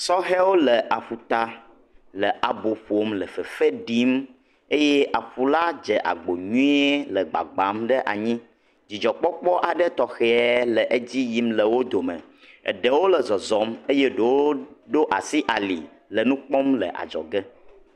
Sɔhɛ wole aƒuta le abo ƒom le fefe ɖim eye aƒu la dze agbo nyuie le gbagba ɖe anyi. Dzidzɔ kpɔkpɔ tɔxɛ le dzi yim le wodo me. Eɖewo le zɔzɔm eye eɖewo ɖo asi ali le nukpɔm le adzɔge.